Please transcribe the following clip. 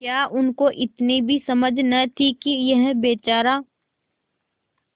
क्या उनको इतनी भी समझ न थी कि यह बेचारा